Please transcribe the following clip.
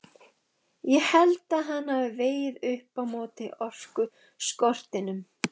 Ég held að hann hafi vegið upp á móti orkuskortinum.